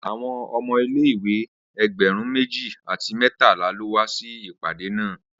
Awọn ọmọ ile-iwe ẹgbẹrun meji ati mẹtala lo wa si ipade naa